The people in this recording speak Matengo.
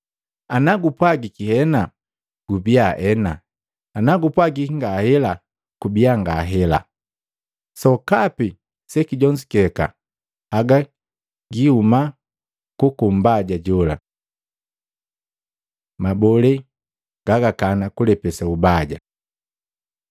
Anagupwagiki, ‘Hena,’ kubia, ‘Hena,’ na gupwagiki, ‘Ngahela,’ kubia, ‘Ngahela.’ Sokapi sekijonzuke haga kihuma kuku Mbaja jola.” Mabolee gagakana kulepesa ubaja Luka 6:29-30